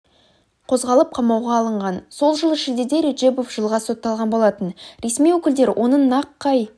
қозғалып қамауға алынған сол жылы шілдеде реджебов жылға сотталған болатын ресми өкілдер оның нақ қай